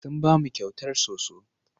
Sun ba mu kyautar soso.